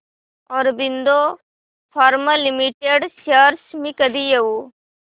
Aurobindo pharma limited shares मी कधी घेऊ